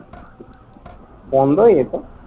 বন্ধ হয়ে যেত?